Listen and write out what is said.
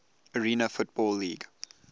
arena football league